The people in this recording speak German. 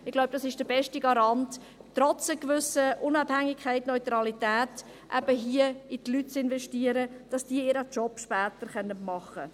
Ich glaube, dies ist der beste Garant, trotz einer gewissen Unabhängigkeit und Neutralität, hier in die Leute zu investieren, damit sie ihren Job später machen können.